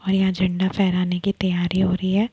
और यहाँ झंडा फैराने की तैयारी हो रही है।